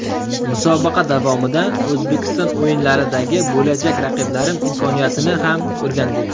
Musobaqa davomida Osiyo o‘yinlaridagi bo‘lajak raqiblarim imkoniyatini ham o‘rgandik.